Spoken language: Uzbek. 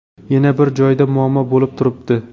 Yana bir joyda muammo bo‘lib turibdi.